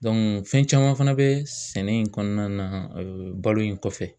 Dɔnku fɛn caman fana be sɛnɛ in kɔnɔna na ee balo in kɔfɛ